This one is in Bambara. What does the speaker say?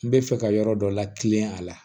N bɛ fɛ ka yɔrɔ dɔ la kilen a la